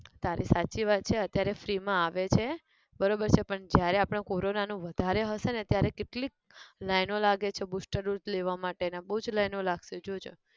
તારી સાચી વાત છે અત્યારે free માં આવે છે, બરોબર છે પણ, જયારે આપણે corona નું વધારે હશે ને ત્યારે કેટલીક line ઓ લાગે છે booster dose લેવા માટે ના બઉ જ line ઓ લાગશે જોજે